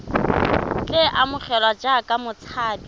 tle a amogelwe jaaka motshabi